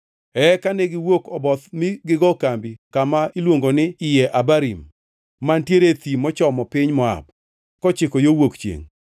Eka ne giwuok Oboth mi gigo kambi kama iluongo ni Iye Abarim, mantiere e thim mochomo piny Moab kochiko yo wuok chiengʼ.